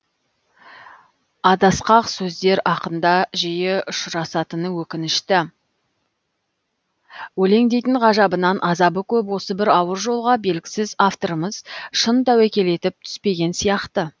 адасқақ сөздер ақында жиы ұшырасатыны өкінішті өлең дейтін ғажабынан азабы көп осы бір ауыр жолға белгісіз авторымыз шын тәуекел етіп түспеген сияқты